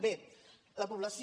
bé la població